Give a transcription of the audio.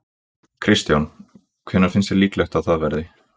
Kristján: Hvenær finnst þér líklegt að það verði?